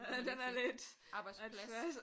Den er lidt. Arbejdsplads